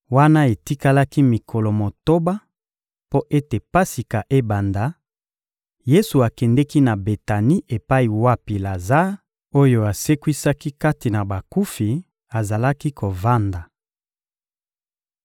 Wana etikalaki mikolo motoba mpo ete Pasika ebanda, Yesu akendeki na Betani epai wapi Lazare, oyo asekwisaki kati na bakufi, azalaki kovanda.